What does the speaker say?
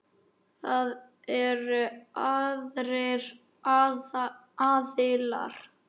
Það eru aðrir aðilar.